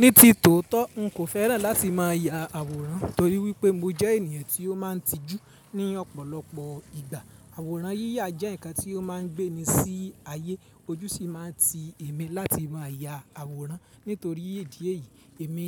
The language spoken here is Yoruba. Ní ti tòótọ́ n kò féràn láti máa ya àwòrán torí wípé mo jẹ́ ènìyàn tí ó máa ń tijú ní ọ̀pọ̀lọpọ̀ ìgbà. Àwòrán yíyà jẹ́ ǹkan tí ó máa ń gbé ni sí ayé, ojú sì máa ń ti èmi láti máa ya àwòrán. Nítorí ìdí èyí, èmi